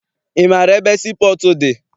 Ị maara ebe sii pọọtụ dị?